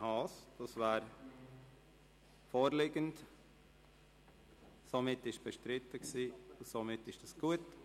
Dies ist vorliegend, es war bestritten, aber somit gut.